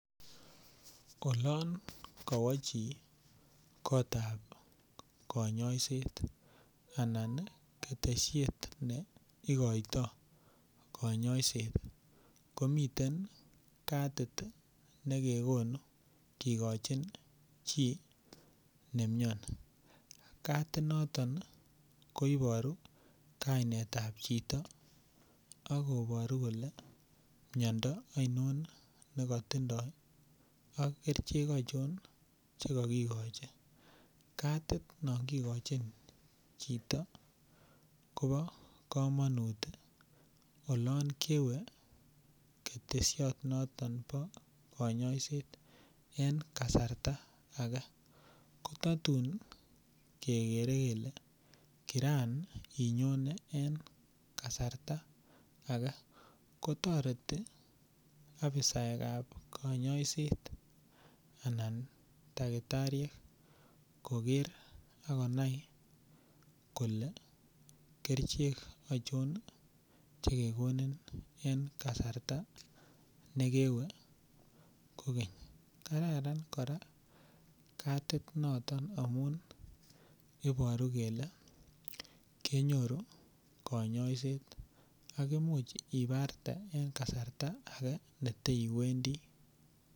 olon kowo chii kotaab konyoiset anan ketesheet neigoitoo konyoiseet komiten katit negegonu kikochin chii nemyoni, katit noton koiboru kaineet ab chito ak koboru kole myondo ainoon negotindoo ak kerichek achon chegogigochi, katit nongigochin chito kobo komonuut olon kewe keteshoot noton bo koinyoiset en kasarta age, kototun kegere kele kiraan inyone en kasarta age kotoreti ofisaek ab konyoiseet anan takitariek kogeer ak konai kole kerichek achon chegegonin en kasarta negewe kokeny, kararn koraa katit noton amuun iboru kele kenyoru koinyoiseet ak imuch ibarte koraa en kasarta netai iwendii